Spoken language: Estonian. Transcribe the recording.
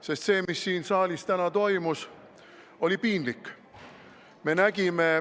Sest see, mis siin saalis täna toimus, oli piinlik.